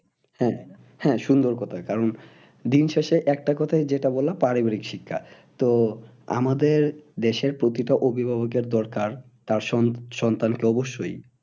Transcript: হ্যাঁ, হ্যাঁ সুন্দর কথা কারণ দিন শেষে একটা কথাই যেটা বললো পারিবারিক শিক্ষা তো আমাদের দেশের প্রতিটা অভিভাবকের দরকার তার সন্তানকে অবশ্যই